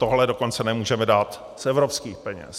Tohle dokonce nemůžeme dát z evropských peněz.